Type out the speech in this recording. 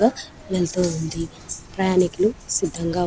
వెళ్ళుతు వుంది ప్రయనికుల్లు సిధం గ వున్నారు--.